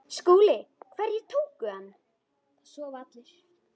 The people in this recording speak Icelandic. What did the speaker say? SKÚLI: Hverjir tóku hann?